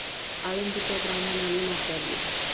आळंदीच्या ब्राम्हणांनी नाकारले